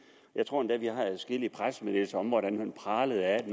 jeg tror endda vi har set adskillige pressemeddelelser om hvordan man pralede af at